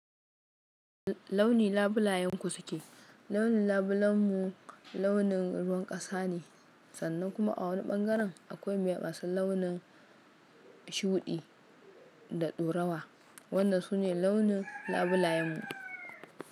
Launi labulayenku suke? Launi labulanmu launin ruwan kasa ne, sannan kuma a wani bangaren akwai mai masu launin shuɗi da ɗorawa. Wannan sune launin labulayenmu.